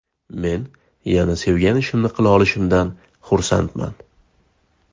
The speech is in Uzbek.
Men yana sevgan ishimni qila olishimdan xursandman”.